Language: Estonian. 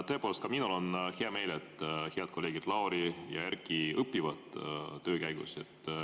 Tõepoolest, ka minul on hea meel, et head kolleegid Lauri ja Erkki õpivad töö käigus.